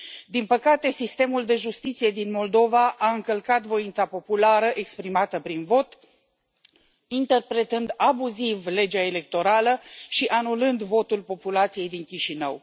Din păcate, sistemul de justiție din Moldova a încălcat voința populară exprimată prin vot, interpretând abuziv legea electorală și anulând votul populației din Chișinău.